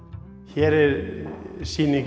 hér er sýning